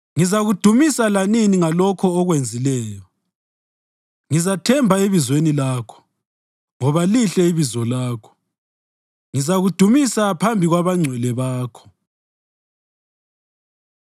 Ngizakudumisa lanini ngalokho okwenzileyo; ngizathemba ebizweni lakho, ngoba lihle ibizo lakho. Ngizakudumisa phambi kwabangcwele bakho.